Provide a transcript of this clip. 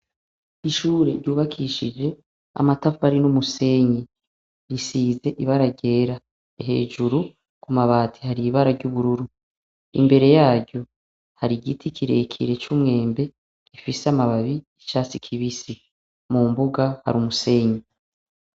Ishure ry'ubakishije amatafari numusenyi risize ibara ryera hejuru ku mabati hari ibara ryubururu , imbere yaryo hari igiti kirekire cumwembe gifise amababi yicatsi kibisi mumbuga hari umusenyi.